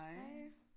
Hej